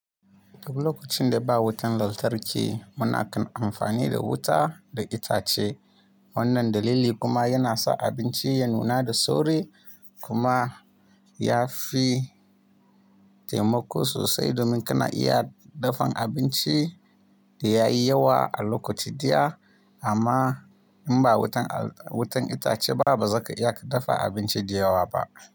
Duk lokacin da ba wutan lantarki muna kan amfani da wuta da itace. Wannan dalili kuma yana sa abinci ya nuna da sauri kuma ya fi taimako sosai domin kana iya dafan abinci da yayi yawa a lokaci daya. Amma in ba wutan itace ba bazaka iya ka dafa abinci da yawa ba.